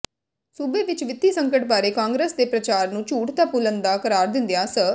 ਸੂਬੇ ਵਿਚ ਵਿੱਤੀ ਸੰਕਟ ਬਾਰੇ ਕਾਂਗਰਸ ਦੇ ਪ੍ਰਚਾਰ ਨੂੰ ਝੂਠ ਦਾ ਪੁਲੰਦਾ ਕਰਾਰ ਦਿੰਦਿਆਂ ਸ